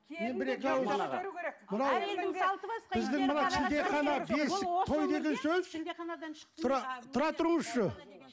шілдехана бесік той деген сөз тұра тұрыңызшы